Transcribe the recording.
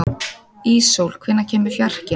Íssól, hvenær kemur fjarkinn?